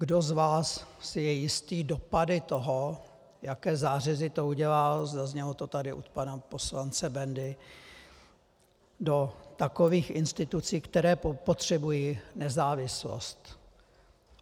Kdo z vás si je jistý dopady toho, jaké zářezy to udělá - zaznělo to tady od pana poslance Bendy - do takových institucí, které potřebují nezávislost?